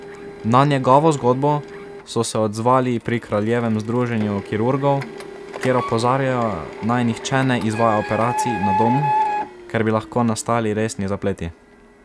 Na njegovo zgodbo so se odzvali pri Kraljevem združenju kirurgov, kjer opozarjajo, naj nihče ne izvaja operacij na domu, ker bi lahko nastali resni zapleti.